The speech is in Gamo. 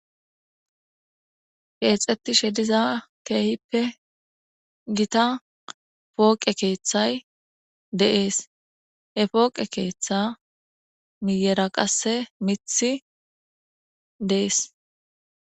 Keexeththishe diza keehippe githa pooqe keeththay de7ees; he pooqe keeththaa miyyera qasse miththi dees.